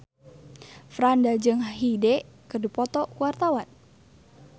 Franda jeung Hyde keur dipoto ku wartawan